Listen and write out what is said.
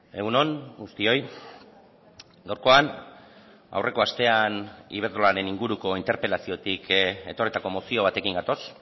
egun on guztioi gaurkoan aurreko astean iberdrolaren inguruko interpelaziotik etorritako mozio batekin gatoz